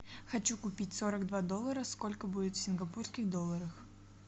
хочу купить сорок два доллара сколько будет в сингапурских долларах